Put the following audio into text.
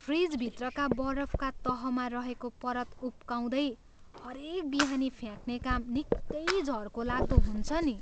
फ्रिजभित्रका बरफका तहमा रहेको परत उक्काउँदै हरेक बिहानी फ्याक्ने काम निकै झर्कोलाग्दो हुन्छ नि।